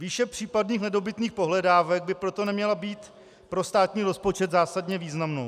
Výše případných nedobytných pohledávek by proto neměla být pro státní rozpočet zásadně významnou.